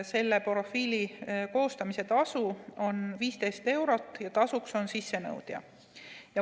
Selle profiili koostamise tasu on 15 eurot ja tasujaks on sissenõudja.